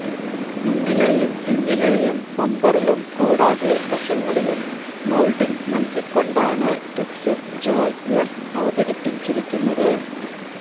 മുന്നിലേയും പിന്നിലേയും ബംബറിലും കൂടാതെ വശങ്ങളിലും മോൾഡിംഗ് നൽകികൊണ്ടാണ് പിക്സിസ് ജോയ് എഫ് അവതരിച്ചിരിക്കുന്നത്